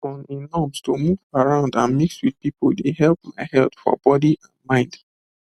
on a norms to move around and mix with people dey help my health for body and mind